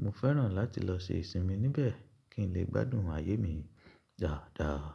Mo fẹ́ràn láti lọ ṣe ìsinmi níbẹ̀ kí n lè gbádùn ayé mi dáadáa.